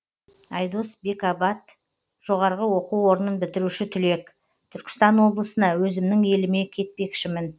айдос бекабат жоғарғы оқу орнын бітіруші түлек түркістан облысына өзімнің еліме кетпекшімін